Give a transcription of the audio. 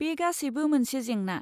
बे गासैबो मोनसे जेंना।